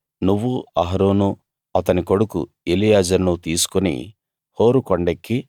నువ్వు అహరోను అతని కొడుకు ఎలియాజరును తీసుకుని హోరు కొండెక్కి